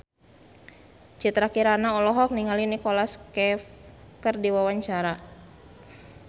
Citra Kirana olohok ningali Nicholas Cafe keur diwawancara